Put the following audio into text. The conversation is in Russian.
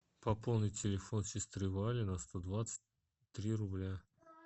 пополнить телефон сестры вали на сто двадцать три рубля